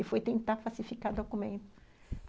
E foi tentar falsificar o documento.